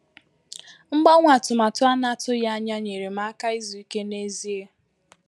Mgbanwe atụmatụ a na-atụghị anya nyere m áká izu íké n’ezie.